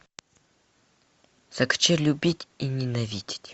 закачай любить и ненавидеть